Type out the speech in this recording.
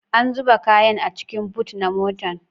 An zuba kayan a cikin bot na motar